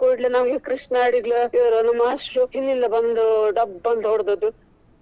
ಕೂಡ್ಲೆ ನಮ್ಗೆ ಕೃಷ್ಣ ಅಡಿಗ ನಮ್ಮ ಮಾಸ್ಟ್ರು ಹಿಂದಿನಿಂದ ಬಂದು ಡಬ್ಬ ಅಂತ ಹೊಡ್ದದು.